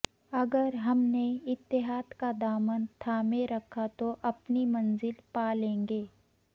اگر ہم نے اتحاد کا دامن تھامے رکھا تو اپنی منزل پالیں گے